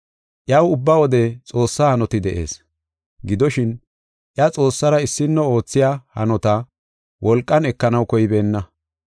Iyaw ubba wode Xoossa hanoti de7ees. Gidoshin, iya Xoossara issino oothiya hanota, wolqan ekanaw koybeenna.